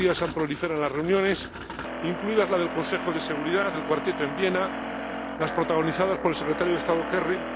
Estos días han proliferado las reuniones, incluidas las del Consejo de Seguridad, la del Cuarteto en Viena, las protagonizadas por el secretario de Estado Kerry